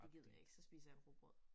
Det gider jeg ikke så spiser jeg rugbrød